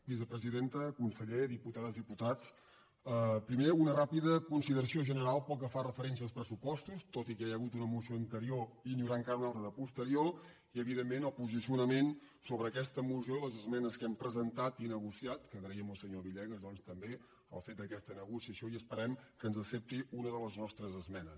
vicepresidenta conseller diputa·des diputats primer una ràpida consideració general pel que fa referència als pressupostos tot i que ja hi ha hagut una moció anterior i n’hi haurà encara una altra de posterior i evidentment el posicionament so·bre aquesta moció i les esmenes que hem presentat i negociat que agraïm al senyor villegas doncs també el fet d’aquesta negociació i esperem que ens accepti una de les nostres esmenes